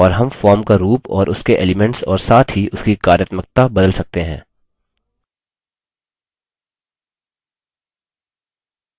और हम form का रूप और उसके elements और साथ ही उसकी कार्यत्मकता बदल सकते हैं